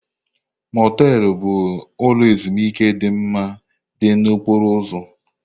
Motelụ bụ ụlọ ezimuike dị mma dị na okporo ụzọ.